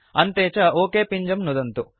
अन्ते च ओक पिञ्जं नुदन्तु